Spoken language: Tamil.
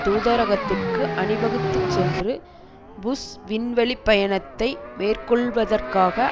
தூதரகத்திற்கு அணி வகுத்துச்சென்று புஷ் விண்வெளி பயணத்தை மேற்கொள்வதற்காக